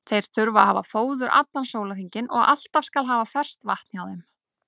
Þeir þurfa að hafa fóður allan sólarhringinn og alltaf skal haft ferskt vatn hjá þeim.